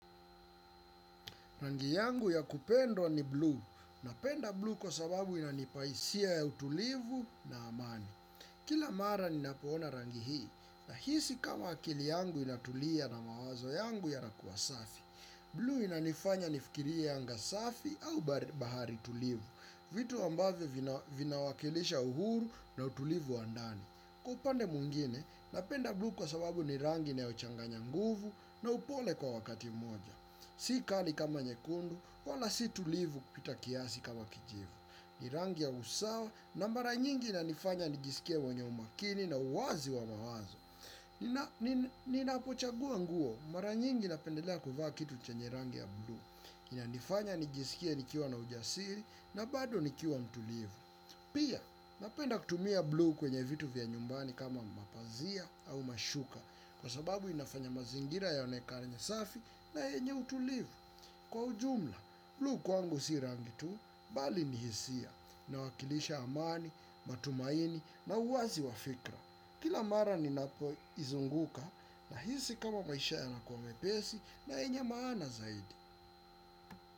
Rangi yangu ya kupendwa ni bluu. Napenda bluu kwa sababu inanipa hisia ya utulivu na amani. Kila mara ninapoona rangi hii. Nahisi kama akili yangu inatulia na mawazo yangu yanakua safi. Bluu inanifanya nifikirie anga safi au bahari tulivu. Vitu ambavyo vinawakilisha uhuru na utulivu wa ndani kwa upande mwingine, napenda bluu kwa sababu ni rangi inayochanganya nguvu na upole kwa wakati moja. Sikali kama nyekundu, wala si tulivu kupita kiasi kama kijivu. Ni rangi ya usawa na mara nyingi inanifanya nijisikie mwenye umakini na uwazi wa mawazo. Ninapochagua nguo, mara nyingi na pendelea kuvaa kitu chenye rangi ya bluu. Inanifanya nijisikie nikiwa na ujasiri na bado nikiuwa mtulivu. Pia, napenda kutumia bluu kwenye vitu vya nyumbani kama mapazia au mashuka. Kwa sababu inafanya mazingira yaonekane safi na yenye utulivu. Kwa ujumla, bluu kwangu si rangi tu, bali ni hisia inawakilisha amani, matumaini na uwazi wafikra. Kila mara ninapo izunguka nahisi kama maisha yanakuwa mepesi na yenye maana zaidi.